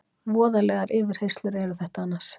Voðalegar yfirheyrslur eru þetta annars.